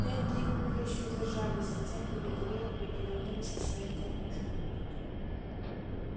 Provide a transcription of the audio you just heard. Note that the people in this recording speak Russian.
пять дней куры ещё держались затем капитулировали и вернулись к своим кормушкам